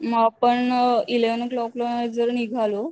म आपण eleven o'clock ला जर निघालो